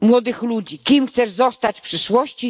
młodych ludzi kim chcesz zostać w przyszłości?